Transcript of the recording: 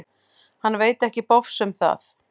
Hann veit ekki bofs um það.